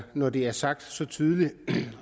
når det er sagt så tydeligt